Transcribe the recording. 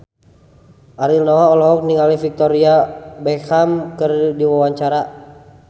Ariel Noah olohok ningali Victoria Beckham keur diwawancara